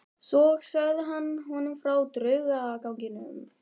Svo sagði hann honum frá draugaganginum.